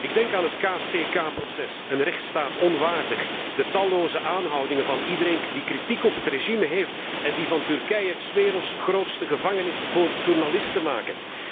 Ik denk aan het KCK proces, een rechtsstaat onwaardig, de talloze aanhoudingen van iedereen die kritiek op het regime heeft en die van Turkije 's werelds grootste gevangenis voor journalisten maken.